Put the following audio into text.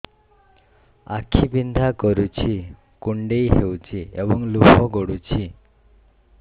ଆଖି ବିନ୍ଧା କରୁଛି କୁଣ୍ଡେଇ ହେଉଛି ଏବଂ ଲୁହ ଗଳୁଛି